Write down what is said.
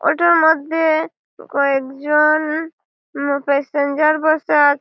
auto ওর মধ্যে কয়েকজন ম প্যাসেঞ্জার বসে আ--